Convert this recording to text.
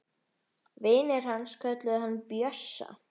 Vinir hans kölluðu hann Bjössa.